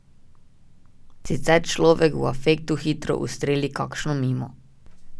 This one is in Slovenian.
Sicer človek v afektu hitro ustreli kakšno mimo.